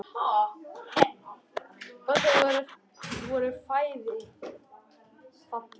Og þau voru bæði falleg.